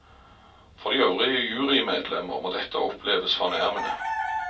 For de øvrige jurymedlemmer må dette oppleves fornærmende.